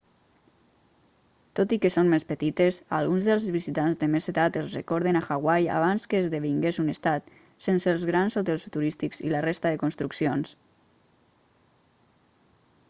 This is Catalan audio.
tot i que són més petites a alguns dels visitants de més edat els recorden a hawaii abans que esdevingués un estat sense els grans hotels turístics i la resta de construccions